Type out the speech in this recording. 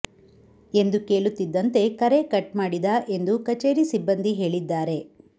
ಎಂದು ಕೇಳುತ್ತಿದ್ದಂತೆ ಕರೆ ಕಟ್ ಮಾಡಿದ ಎಂದು ಕಚೇರಿ ಸಿಬ್ಬಂದಿ ಹೇಳಿದ್ದಾರೆ